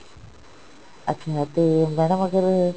ਅੱਛਿਆ ਤੇ madam ਅਗਰ